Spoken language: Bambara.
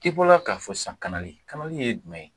I bɔra k'a fɔ sisa kanali ,kanali ye jumɛn ye?